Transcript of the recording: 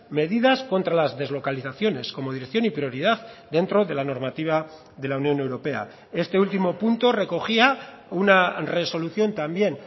medidas contra las deslocalizaciones como dirección y prioridad dentro de la normativa de la unión europea este último punto recogía una resolución también